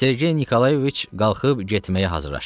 Sergey Nikolayeviç qalxıb getməyə hazırlaşdı.